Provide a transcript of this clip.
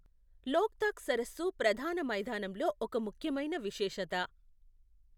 లోక్తాక్ సరస్సు ప్రధాన మైదానంలో ఒక ముఖ్యమైన విశేషత.